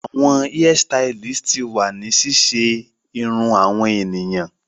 Awọn hairstylist ti wa ni ṣiṣe awọn eniyan irun